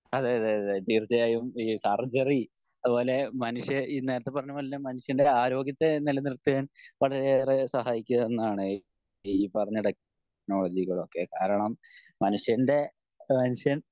അതെയതെ അതെ തീർച്ചയായും ഈ അർഗരി അതുപോലെ മനുഷ്യ നേരത്തെ പറഞ്ഞപോലെ തന്നെ മനുഷ്യൻ്റെ ആരോഗ്യത്തെ നിലനിർത്താൻ വരെയേറെ സഹായിക്ക എന്നാണ് ഈ പറഞ്ഞ ടെക്‌നോളജികൾ ഒക്കെ കാരണം മനുഷ്യൻ്റെ മനുഷ്യൻ